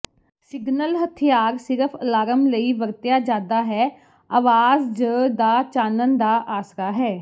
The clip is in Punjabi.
ਸਿਗਨਲ ਹਥਿਆਰ ਸਿਰਫ ਅਲਾਰਮ ਲਈ ਵਰਤਿਆ ਜਾਦਾ ਹੈ ਆਵਾਜ਼ ਜ ਦਾ ਚਾਨਣ ਦਾ ਆਸਰਾ ਹੈ